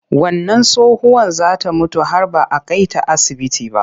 Wannan tsohuwar za ta mutu har ba a kai ta asibiti ba.